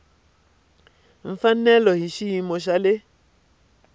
mfanelo hi xiyimo xa le